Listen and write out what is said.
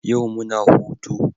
Yau muna hutu